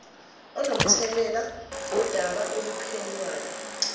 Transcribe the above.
onomthelela ngodaba oluphenywayo